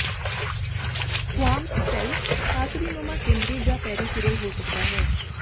squamous cell carcinoma ਕੇਂਦਰੀ ਜਾਂ peripheral ਹੋ ਸਕਦਾ ਹੈ